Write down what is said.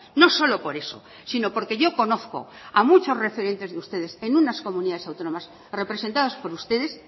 no solo por eso sino porque yo conozco a muchos referentes de ustedes en unas comunidades autónomas representadas por ustedes